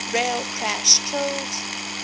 rail crash killed